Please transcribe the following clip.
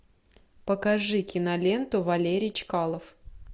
покажи киноленту валерий чкалов